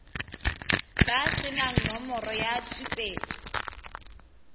ba senang nomoro ya tshupetso